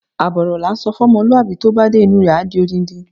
Àbọ̀ ọ̀rọ̀ lá ǹsọ fún ọmọlúwàbí, tó bá dé inú rẹ̀, a di odindi.